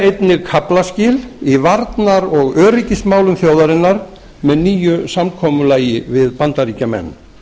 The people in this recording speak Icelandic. einnig kaflaskil í varnar og öryggismálum þjóðarinnar með nýju samkomulagi við bandaríkjamenn